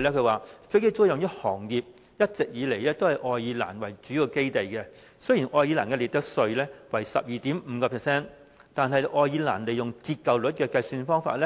他還說，飛機租賃這行業一直以來都是以愛爾蘭為主要基地，雖然愛爾蘭的利得稅為 12.5%， 但愛爾蘭利用折舊率的計算方法，